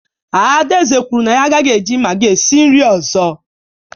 Adaeze kwuru na ya agaghị eji magi esi nri ọzọ.